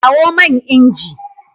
Kawo man inji.